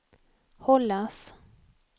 hållas